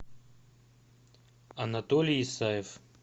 анатолий исаев